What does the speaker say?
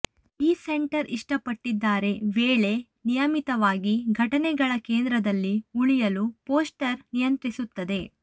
ಈ ಸೆಂಟರ್ ಇಷ್ಟಪಟ್ಟಿದ್ದಾರೆ ವೇಳೆ ನಿಯಮಿತವಾಗಿ ಘಟನೆಗಳ ಕೇಂದ್ರದಲ್ಲಿ ಉಳಿಯಲು ಪೋಸ್ಟರ್ ನಿಯಂತ್ರಿಸುತ್ತದೆ